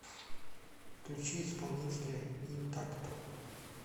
включи исполнителя интакто